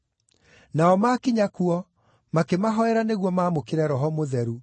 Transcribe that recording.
Nao maakinya kuo, makĩmahoera nĩguo maamũkĩre Roho Mũtheru,